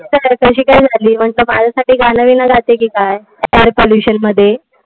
माझ्यासाठी गाणबिन लागतं कि काय air pollution मध्ये.